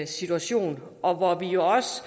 situation og hvor vi også